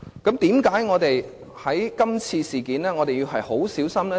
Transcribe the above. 為何我們在今次事件上要很小心？